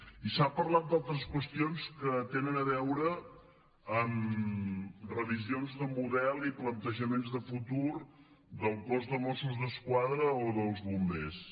i s’ha parlat d’altres qüestions que tenen a veure amb revisions de model i plantejaments de futur del cos de mossos d’esquadra i o el de bombers